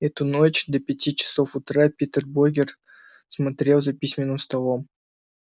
эту ночь до пяти часов утра питер богерт смотрел за письменным столом